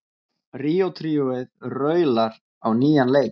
Ríó tríóið raular á nýjan leik